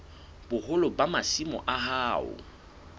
boholo ba masimo a hao